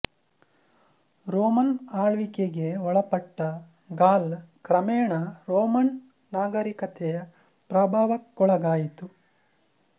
Roman ಆಳ್ವಿಕೆಗೆ ಒಳಪಟ್ಟ Gaul ಕ್ರಮೇಣ ರೋಮನ್ ನಾಗರಿಕತೆಯ ಪ್ರಭಾವಕ್ಕೊಳಗಾಯಿತು